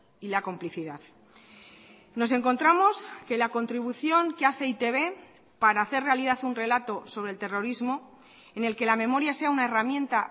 y la complicidad nos encontramos que la contribución que hace e i te be para hacer realidad un relato sobre el terrorismo en el que la memoria sea una herramienta